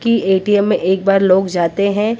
की ए_टी_एम में एक बार लोग जाते हैं।